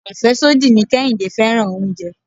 Afesodi ni Kehinde fẹ́ràn oúnjẹ.